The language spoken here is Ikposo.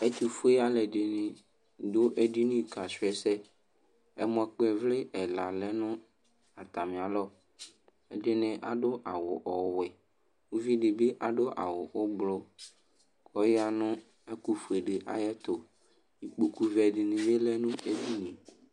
Ɛtʋfue alʋɛdɩnɩ dʋ edini kasʋ ɛsɛ Ɛmɔkpɔ ɩvlɩ ɛla lɛ nʋ atamɩalɔ Ɛdɩnɩ adʋ awʋ ɔwɛ Uvi dɩ bɩ adʋ awʋ ʋblʋ kʋ ɔya nʋ ɛkʋfue dɩ ayɛtʋ Ikpokuvɛ dɩnɩ bɩ lɛ nʋ edini yɛ